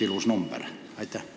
Ilus number küll, aga miks?